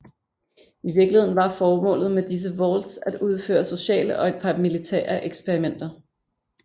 I virkeligheden var formålet med disse vaults at udføre sociale og et par militære eksperimenter